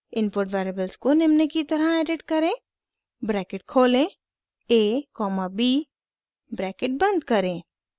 input variables को निम्न की तरह एडिट करें ब्रैकेट खोलें a कॉमा b ब्रैकेट बंद करें